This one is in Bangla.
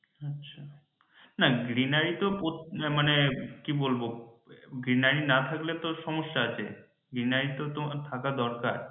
আচ্ছা না greenery প্রত্যেক উহ মানে কি বলবো greenery না থাকলে তো সমস্যা আছে greenery তো থাকা দরকার